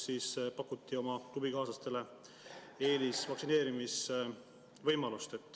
Ta pakkus oma klubikaaslastele eelisvaktsineerimise võimalust.